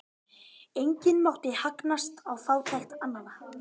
Enginn mátti hagnast á fátækt annarra.